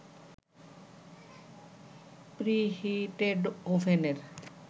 preheated ওভেনের